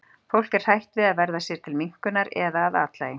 fólk er hrætt við að verða sér til minnkunar eða að athlægi